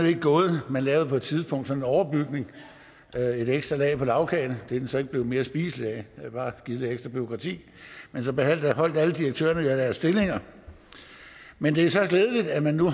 ikke gået man lavede på et tidspunkt sådan en overbygning et ekstra lag på lagkagen det er den så ikke blevet mere spiselig af har bare givet lidt ekstra bureaukrati men så beholdt alle direktørerne jo deres stillinger men det er så glædeligt at man nu